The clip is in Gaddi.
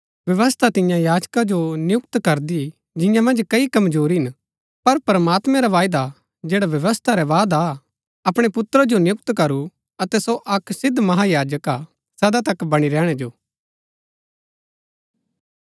व्यवस्था तिन्या याजका जो नियुक्त करदी जिन्या मन्ज कई कमजोरी हिन पर प्रमात्मैं रा वायदा जैड़ा व्यवस्था रै बाद आ अपणै पुत्रा जो नियुक्त करू अतै सो अक सिद्ध महायाजक हा सदा तक बणी रैहणै जो